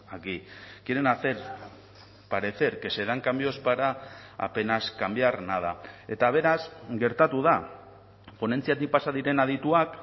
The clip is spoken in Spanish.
aquí quieren hacer parecer que se dan cambios para apenas cambiar nada eta beraz gertatu da ponentziatik pasa diren adituak